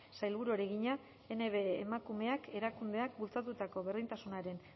sailburuari egina nbe emakumeak erakundeak bultzatutako berdintasunaren